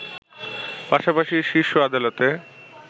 পাশাপাশিই শীর্ষ আদালতে